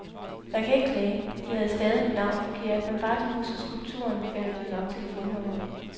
Jeg kan ikke klage, de havde stavet mit navn forkert, men bare de husker skulpturen, finder de jo nok telefonnummeret.